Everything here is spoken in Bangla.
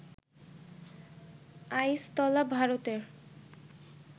আইসতলা, ভারতের